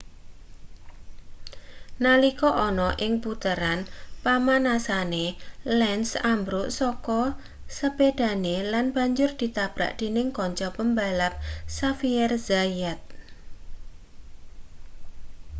nalika ana ing puteran pamanasane lenz ambruk saka sepedhahe lan banjur ditabrak dening kanca pembalap xavier zayat